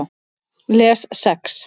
Les Sex